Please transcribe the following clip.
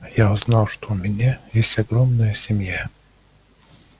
я узнал что у меня есть огромная семья